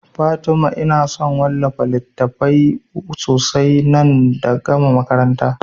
Fatima ina son wallafa littatafai sosai idan na gama makaranta